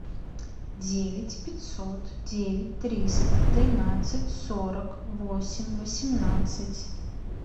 девять пятьсот девять триста тринадцать сорок восемь восемнадцать